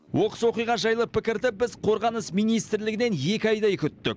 оқыс оқиға жайлы пікірді біз қорғаныс министрлігінен екі айдай күттік